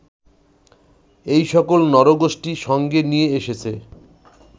এই সকল নরগোষ্ঠী সঙ্গে নিয়ে এসেছে